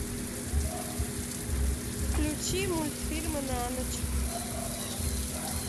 включи мультфильмы на ночь